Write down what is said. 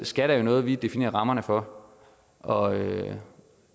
skat er jo noget vi definerer rammerne for og